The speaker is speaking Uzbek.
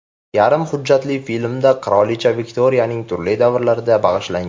Yarim hujjatli filmda qirolicha Viktoriyaning turli davrlariga bag‘ishlangan.